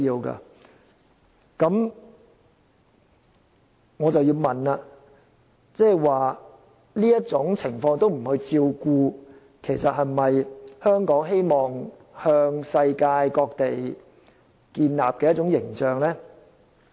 那麼，我要問的是，如果我們不去照顧這種情況下的人士，其實這是否香港希望向世界各地展現的一種形象呢？